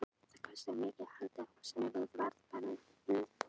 það kostaði mikið að halda húsinu við og svo varð það niðurnítt